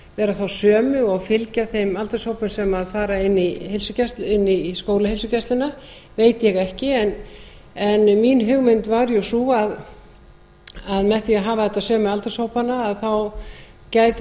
vera þá sömu og fylgja þeim aldurshópum sem fara inn í skólaheilsugæsluna veit ég ekki en mín hugmynd var jú sú að með því að hafa þetta sömu aldurshópana gæti